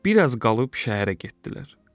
Bir az qalıb şəhərə getdilər.